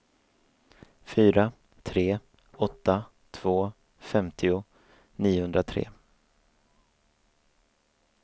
fyra tre åtta två femtio niohundratre